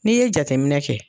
N'i ye jateminɛ kɛ,